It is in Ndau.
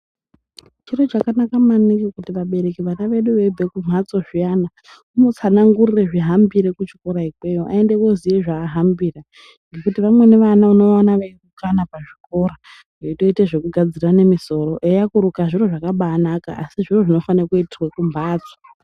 Chiro chakanaka maningi kuti vabereki vana vedu veibva kumbatso zviyani timutsanangurire zvihambire kuchikora ikweyo aende oziya zvahambira ngekuti vamweni vana unomuona orukana pachikora eita zvekugadzirana mi soro eya kurukana zviro zvakabanaka asi zviro zvinofana kuitirwa kumbatso.